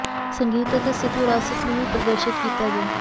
ਸੰਗੀਤ ਅਤੇ ਸਿੱਖ ਵਿਰਾਸਤ ਨੂੰ ਵੀ ਪ੍ਰਦਰਸ਼ਤ ਕੀਤਾ ਗਿਆ